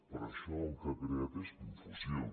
però això el que ha creat és confusió